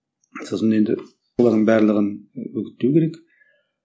сосын енді олардың барлығын үгіттеу керек